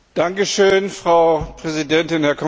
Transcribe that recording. Frau Präsidentin, Herr Kommissar!